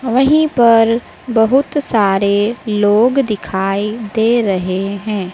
वहीं पर बहुत सारे लोग दिखाई दे रहे है।